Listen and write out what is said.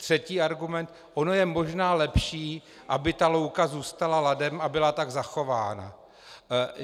Třetí argument: ono je možná lepší, aby ta louka zůstala ladem a byla tak zachována.